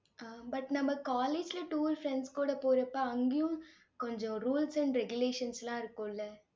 அஹ் but நம்ம college ல tour friends கூட போறப்ப அங்கேயும் கொஞ்சம் rules and regulations லாம் இருக்கும்ல